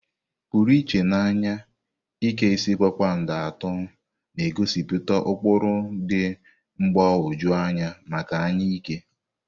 Pụrụ iche na anya, Ike isi kpakpando atọ na-egosipụta ụkpụrụ dị mgbagwoju anya maka anya ike.